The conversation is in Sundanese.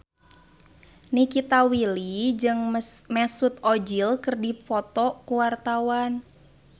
Nikita Willy jeung Mesut Ozil keur dipoto ku wartawan